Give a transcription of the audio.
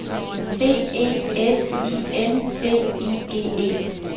B E S I N D I G E